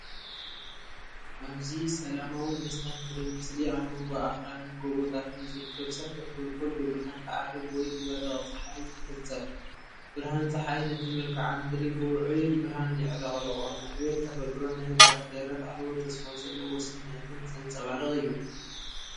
ኣብዚ ሰላማውን መስተንክርን ምስሊ፡ ኣብ መንጎ ኣኽራንን ጎቦታትን ዝርከብ ሰፊሕ ጎልጎል ብብርሃን ትዓርብ ወይ ትበርቕ ጸሓይ ይሕጸብ። ብርሃን ጸሓይ ነቲ መልክዓ ምድሪ ብውዑይ ብርሃን የዕለቕልቖ። ንዕቤት ተፈጥሮን ንህድኣትን ደረት ኣልቦ ተስፋ ዘለዎ ስምዒትን ዘንጸባርቕ እዩ።